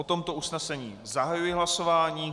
O tomto usnesení zahajuji hlasování.